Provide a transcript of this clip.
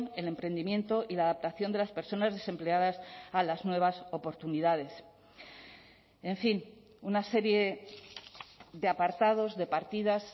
el emprendimiento y la adaptación de las personas desempleadas a las nuevas oportunidades en fin una serie de apartados de partidas